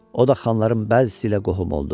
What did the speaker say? O da xanların bəzisi ilə qohum oldu.